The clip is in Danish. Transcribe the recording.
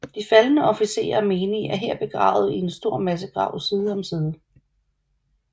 De faldne officerer og menige er her begravet i en stor massegrav side om side